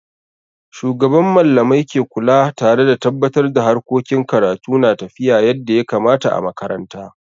Shugaban Mallamai ke kula tare da tabatar da harkokin karatu na tafiya yadda ya kamata a makaranta.